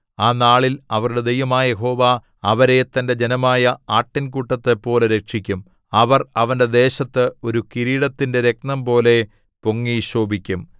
ആ നാളിൽ അവരുടെ ദൈവമായ യഹോവ അവരെ തന്റെ ജനമായ ആട്ടിൻകൂട്ടത്തെപ്പോലെ രക്ഷിക്കും അവർ അവന്റെ ദേശത്ത് ഒരു കിരീടത്തിന്റെ രത്നംപോലെ പൊങ്ങി ശോഭിക്കും